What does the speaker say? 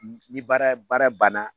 Ni baara baara banna